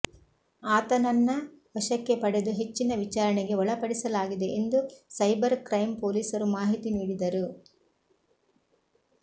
ಆತನನ್ನ ವಶಕ್ಕೆ ಪಡೆದು ಹೆಚ್ಚಿನ ವಿಚಾರಣೆಗೆ ಒಳಪಡಿಸಲಾಗಿದೆ ಎಂದು ಸೈಬರ್ ಕ್ರೈಂ ಪೊಲೀಸರು ಮಾಹಿತಿ ನೀಡಿದರು